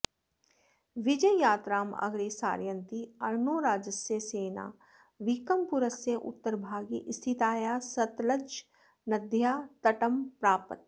विजययात्रां अग्रे सारयन्ती अर्णोराजस्य सेना वीकमपुरस्य उत्तरभागे स्थितायाः सतलजनद्याः तटं प्रापत्